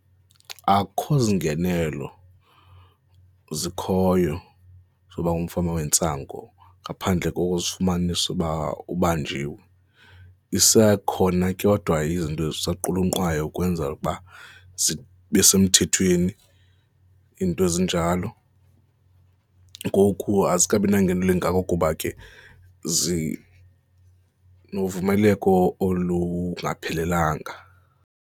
Akukho ziingenelelo zikhoyo zoba ngumfama wentsango ngaphandle kokuzikufumanise uba ubanjiwe. Isekhona kodwa izinto zisanqulunqwayo ukwenzela ukuba zibe semthethweni, iinto ezinjalo. Ngoku azikabi nangenelo elingako kuba ke zinovumeleko olungaphelelanga.